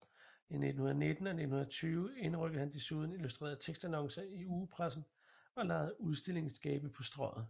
I 1919 og 1920 indrykkede han desuden illustrerede tekstannoncer i ugepressen og lejede udstillingsskabe på Strøget